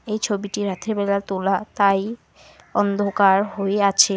এই ছবিটি রাত্রিবেলা তোলা তাই অন্ধকার হয়ে আছে।